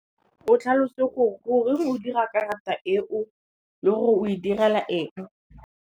O tlhalose go re, goreng o dira karata e o le gore o e direla eng.